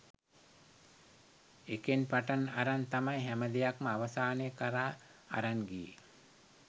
එකෙන් පටන් අරන් තමයි හැම දෙයක්ම අවසානය කරා අරන් ගියේ